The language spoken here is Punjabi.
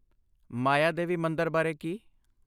ਮਾਇਆਦੇਵੀ ਮੰਦਰ ਬਾਰੇ ਕੀ?